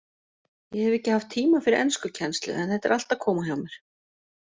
Ég hef ekki haft tíma fyrir enskukennslu en þetta er allt að koma hjá mér.